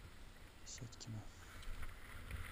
сятькина